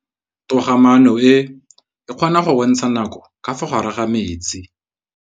Toga-maanô e, e kgona go bontsha nakô ka fa gare ga metsi.